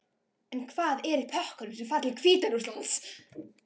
En hvað er í pökkunum sem fara til Hvíta-Rússlands?